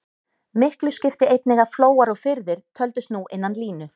Miklu skipti einnig að flóar og firðir töldust nú innan línu.